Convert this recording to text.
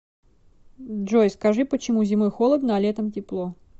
джой скажи почему зимой холодно а летом тепло